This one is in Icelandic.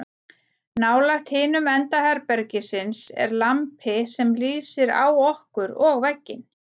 nálægt hinum enda herbergisins er lampi sem lýsir á okkur og vegginn